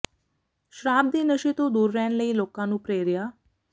ਸ਼ਰਾਬ ਤੇ ਨਸ਼ੇ ਤੋਂ ਦੂਰ ਰਹਿਣ ਲਈ ਲੋਕਾਂ ਨੂੰ ਪੇ੍ਰਿਆ